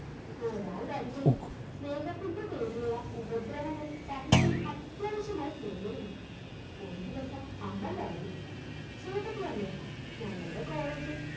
ഒരാളുടരികിൽ സ്നേഹത്തിൻറെ പേരിലുള്ള ഉപദ്രവങ്ങൾ സഹിക്കയും അത്യാവശ്യമായി തീർന്നിരുന്നു ഒരു ദിവസം അമൽ പറഞ്ഞു ചേട്ടത്തിയമ്മേ ഞങ്ങളുടെ College ഇൽ